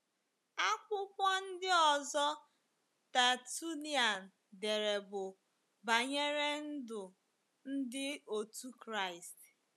Akwụkwọ ndị ọzọ Tertullian dere bụ banyere ndụ ndi otu Kraịst.